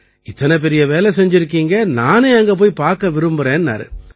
இத்தனை பெரிய வேலை செஞ்சிருக்கீங்க நானே அங்க போயி பார்க்க விரும்பறேன்னாரு